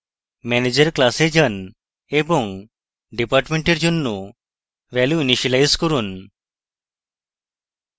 manager class যান এবং department এর জন্য value ইনিসিয়েলাইজ করুন